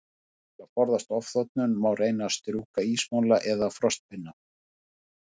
Til að forðast ofþornun, má reyna að sjúga ísmola eða frostpinna.